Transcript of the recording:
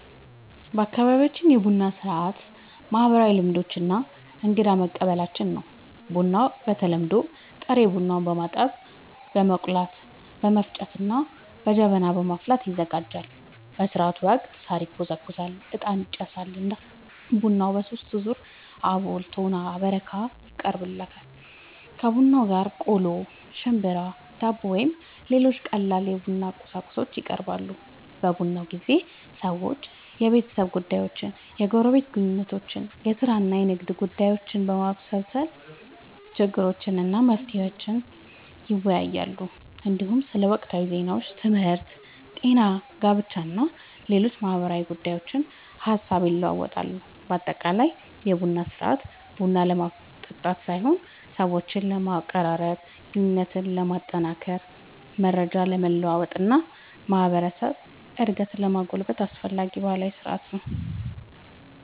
በአካባቢያችን የቡና ሥርዓት ማህበራዊ ልምዶች እና እንግዳን መቀበያችን ነው። ቡናው በተለምዶ ጥሬ ቡናን በማጠብ፣ በመቆላት፣ በመፍጨት እና በጀበና በማፍላት ይዘጋጃል። በሥርዓቱ ወቅት ሣር ይጎዘጎዛል፣ ዕጣን ይጨሳል እና ቡናው በሦስት ዙር (አቦል፣ ቶና እና በረካ) ይቀርባል። ከቡናው ጋር ቆሎ፣ ሽምብራ፣ ዳቦ ወይም ሌሎች ቀላል የቡና ቁርስ ይቀርባል። በቡና ጊዜ ሰዎች የቤተሰብ ጉዳዮችን፣ የጎረቤት ግንኙነቶችን፣ የሥራ እና የንግድ ጉዳዮችን፣ የማህበረሰብ ችግሮችን እና መፍትሄዎቻቸውን ይወያያሉ። እንዲሁም ስለ ወቅታዊ ዜናዎች፣ ትምህርት፣ ጤና፣ ጋብቻ እና ሌሎች ማህበራዊ ጉዳዮች ሐሳብ ይለዋወጣሉ። በአጠቃላይ የቡና ሥርዓት ቡና ለመጠጣት ሳይሆን ሰዎችን ለማቀራረብ፣ ግንኙነትን ለማጠናከር፣ መረጃ ለመለዋወጥ እና የማህበረሰብ አንድነትን ለማጎልበት አስፈላጊ ባህላዊ ሥርዓት ነው።